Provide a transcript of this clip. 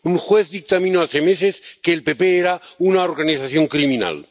Un juez dictaminó hace meses que el PP era una organización criminal.